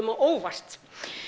á óvart